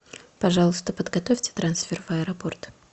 пожалуйста подготовьте трансфер в аэропорт